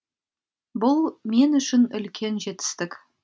бұл мен үшін үлкен жетістік